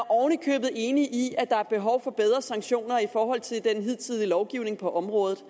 oven i købet enig i at der er behov for bedre sanktioner i forhold til den hidtidige lovgivning på området